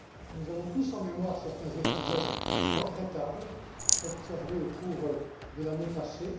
Nous avons tous en mémoire certains épisodes regrettables observés au cours de l'année passée.